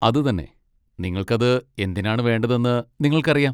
അതുതന്നെ, നിങ്ങൾക്കത് എന്തിനാണ് വേണ്ടതെന്ന് നിങ്ങൾക്കറിയാം.